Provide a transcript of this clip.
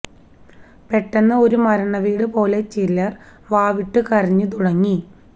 പെട്ടെന്ന് ഒരു മരണവീട് പോലെ ചിലർ വാവിട്ടു കരഞ്ഞു തുടങ്ങി